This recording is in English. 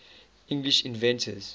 english inventors